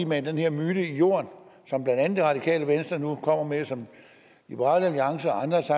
mane den her myte i jorden som blandt andet det radikale venstre nu kommer med og som liberal alliance og andre også